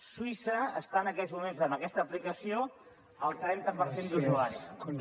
suïssa està en aquests moments amb aquesta aplicació al trenta per cent d’usuaris